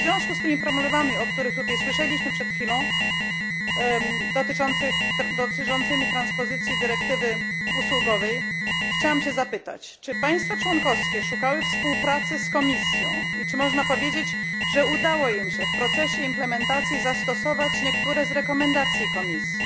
W związku z problemami, o których przed chwilą słyszeliśmy, dotyczącymi transpozycji dyrektywy usługowej, chciałam zapytać, czy państwa członkowskie szukały współpracy z Komisją i czy można powiedzieć, że udało im się w procesie implementacji zastosować niektóre z rekomendacji Komisji?